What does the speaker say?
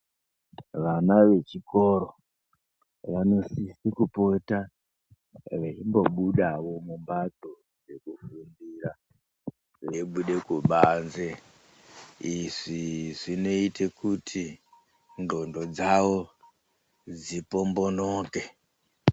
Vana vechikoro vanosise kupota veimbobudawo mumbatso dzekufundira veibude kubanze. Izvi zvinoite kuti ndxondo dzavo dzipombonoke.